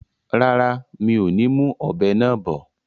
Rárá, mi ò ní mú ọ̀bẹ náà bọ̀